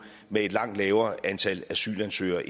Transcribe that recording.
med et langt lavere antal asylansøgere